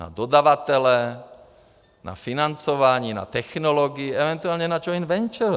Na dodavatele, na financování, na technologie, eventuálně na joint venture.